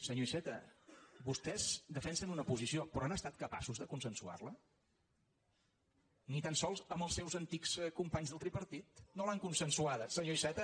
senyor iceta vostès defensen una posició però han estat capaços de consensuar·la ni tan sols amb els seus antics companys del tripartit no l’han consensuada senyor iceta